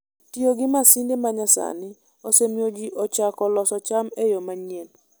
Tiyo gi masinde ma nyasani osemiyo ji ochako loso cham e yo manyien.